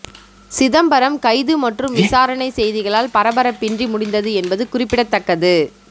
சிதம்பரம் கைது மற்றும் விசாரணை செய்திகளால் பரபரப்பின்றி முடிந்தது என்பது குறிப்பிடத்தக்கது